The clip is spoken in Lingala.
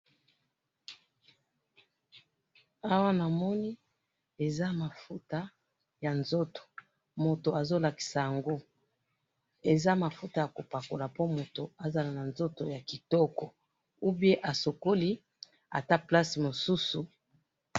Awa namoni eza mafuta ya nzoto mutu azo lakisa yango ,eza mafuta yako pakola po mutu azala na nzoto ya kitoko ou bien asokoli ata place mosusu